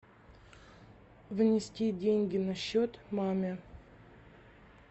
внести деньги на счет маме